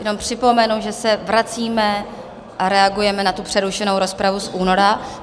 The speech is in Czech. Jenom připomenu, že se vracíme a reagujeme na tu přerušenou rozpravu z února.